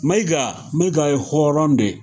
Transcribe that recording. Mayiga mayiga ye hɔrɔn de ye